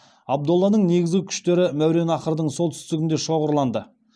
абдолланың негізгі күштері мәуереннахрдың солтүстігінде шоғырланды